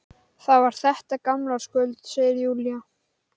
Ég ætla bara rétt aðeins að hlúa að hljóðfærinu.